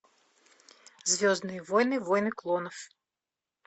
звездные войны войны клонов